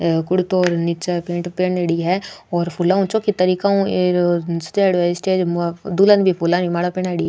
हे कुर्तो र निचे पेंट पहनेड़ी है और फुला उ छोकि तरीका उ सजायोड़ी है स्टेज दुल्हन ने भी फूला आली माला पहनायोड़ी।